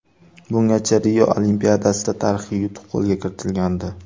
Bungacha Rio Olimpiadasida tarixiy yutuq qo‘lga kiritilgandi.